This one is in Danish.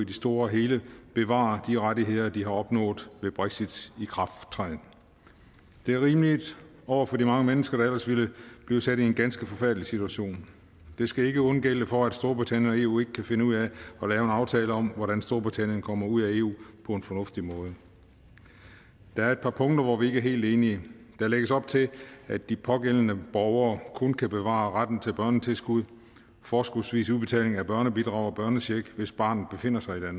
det store hele bevarer de rettigheder de har opnået ved brexits ikrafttræden det er rimeligt over for de mange mennesker der ellers ville blive sat i en ganske forfærdelig situation de skal ikke undgælde for at storbritannien og eu ikke kan finde ud af at lave en aftale om hvordan storbritannien kommer ud af eu på en fornuftig måde der er et par punkter hvor vi ikke er helt enige der lægges op til at de pågældende borgere kun kan bevare retten til børnetilskud forskudsvis udbetaling af børnebidrag og børnecheck hvis barnet befinder sig i